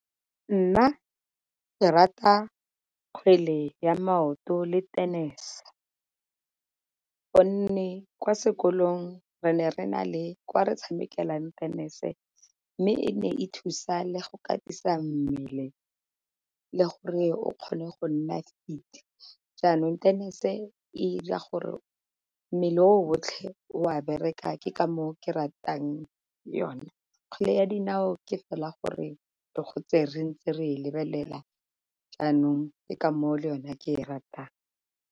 Nna ke rata kgwele ya maoto le tennis gonne kwa sekolong re ne re na le kwa re tshamekela tennis, mme e ne e thusa le go katisa mmele le gore o kgone go nna fit. Jaanong tennis e ira gore mmele o otlhe o a bereka ke ka moo ke ratang yone. Kgwele ya dinao ke fela gore re gotse re ntse re lebelela jaanong ke ka moo o le yona ke e ratang.